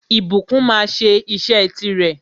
Ìbùkún máa sẹ́ isẹ́ ti rè